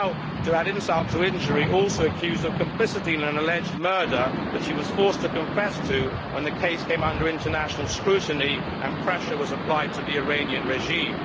To add insult to injury, she is now also accused of complicity in an alleged murder to which she was forced to confess when the case came under international scrutiny and pressure was applied on the Iranian regime.